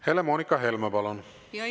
Helle-Moonika Helme, palun!